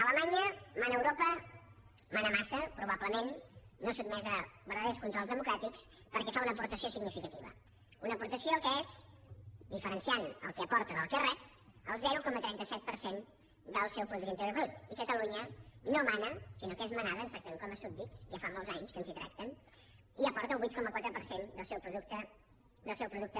alemanya mana a europa mana massa probablement no sotmesa a verdaders controls democràtics perquè fa una aportació significativa una aportació que és diferenciant el que aporta del que rep el zero coma trenta set per cent del seu producte interior brut i catalunya no mana sinó que és manada ens tracten com a súbdits ja fa molts anys que ens hi tracten i aporta el vuit coma quatre per cent del seu producte interior brut